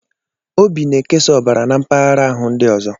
Obi na-ekesa ọbara na mpaghara ahụ ndị ọzọ.